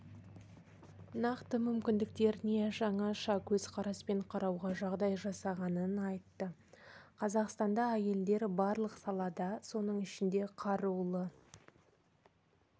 нақты мүмкіндіктеріне жаңаша көзқараспен қарауға жағдай жасағанын айтты қазақстанда әйелдер барлық салада соның ішінде қарулы